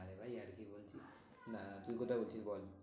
নারে ভাই ইয়ার্কি করছি, না তুই কোথায় উঠবি বল?